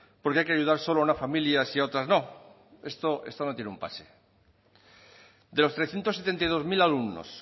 por qué hay que ayudar solo a unas familias y a otras no esto no tiene un pase de los trescientos setenta y dos mil alumnos